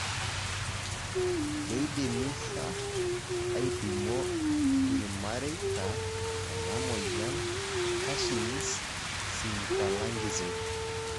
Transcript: keidimmi sa aipimo ilmaireita ena moyian Cushing's symphalangism?